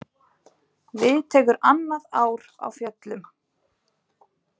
Við tekur annað ár á fjöllum.